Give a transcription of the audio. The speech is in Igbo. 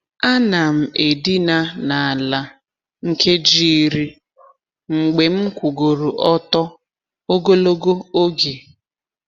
A na'm edina n’ala nkeji iri mgbe m kwugoro ọtọ ogologo oge.